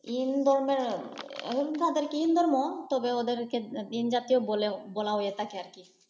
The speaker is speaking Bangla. ইন ধর্মের ইন ধর্ম, তবে ওদেরকে দীনজাতীয় বলা হয়ে থাকে আর কি